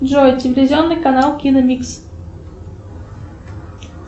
джой телевизионный канал киномикс